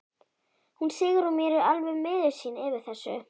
Hún Sigrún mín er alveg miður sín yfir þessu.